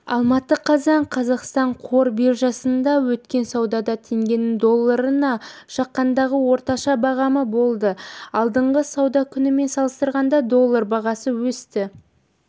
алматы қазан қазақстан қор биржасында өткен саудада теңгенің долларына шаққандағы орташа бағамы болды алдыңғы сауда күнімен салыстырғанда доллар бағасы өсті